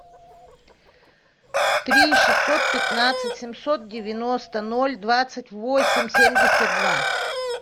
три шестьсот пятнадцать семьсот девяносто ноль двадцать восемь семьдесят два